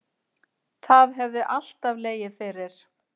Það hefði alltaf legið fyrir